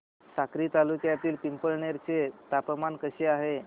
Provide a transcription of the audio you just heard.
साक्री तालुक्यातील पिंपळनेर चे तापमान कसे आहे